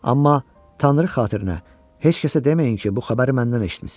Amma tanrı xatirinə heç kəsə deməyin ki, bu xəbəri məndən eşitmisiz.